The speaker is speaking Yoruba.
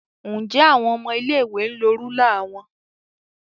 Njẹ awọn ọmọ ilé-ìwé n lo rúlà wọn?